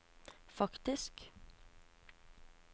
faktisk